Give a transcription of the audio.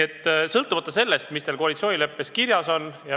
Üldiselt pole oluline, mis teil koalitsioonileppes kirjas on.